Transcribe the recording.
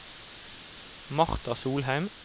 Marta Solheim